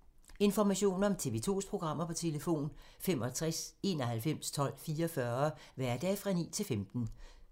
Information om TV 2's programmer: 65 91 12 44, hverdage 9-15.